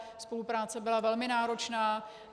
Spolupráce byla velmi náročná.